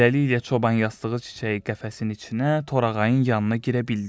Beləliklə, çoban yastığı çiçəyi qəfəsin içinə torağayın yanına girə bildi.